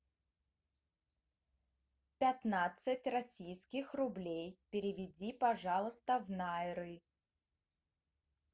пятнадцать российских рублей переведи пожалуйста в найры